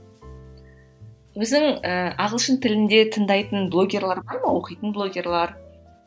біздің і ағылшын тілінде тыңдайтын блогерлар бар ма оқитын блогерлар